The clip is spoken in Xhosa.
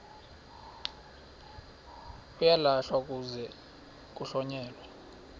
uyalahlwa kuze kuhlonyelwe